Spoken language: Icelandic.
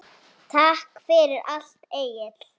Takk fyrir allt, Egill.